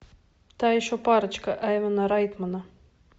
та еще парочка айвона райтмена